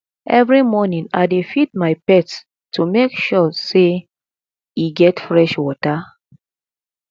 every morning i dey feed my pet to make ensure sey e get fresh water